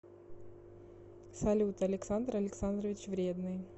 салют александр александрович вредный